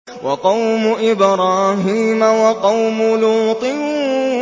وَقَوْمُ إِبْرَاهِيمَ وَقَوْمُ لُوطٍ